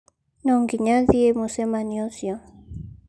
"No nginya thiĩ mucemanio ũcio"